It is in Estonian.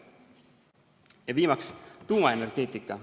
Ja viimaks, tuumaenergeetika.